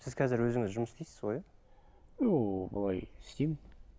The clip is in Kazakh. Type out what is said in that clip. сіз қазір өзіңіз жұмыс істейсіз ғой иә ну былай істеймін